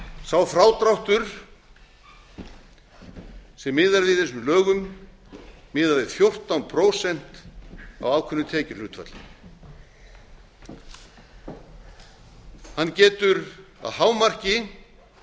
sá frádráttur sem miðað er við í þessum lögum miðað við fjórtán prósent af ákveðnu tekjuhlutfalli hann getu að hámarki